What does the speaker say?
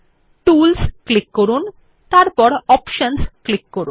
tools click করুন তারপর options click করুন